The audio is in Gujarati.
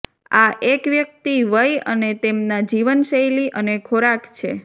આ એક વ્યક્તિ વય અને તેમના જીવનશૈલી અને ખોરાક છે